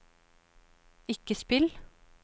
ikke spill